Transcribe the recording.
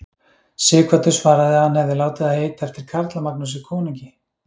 Sighvatur svaraði að hann hefði látið það heita eftir Karla-Magnúsi konungi.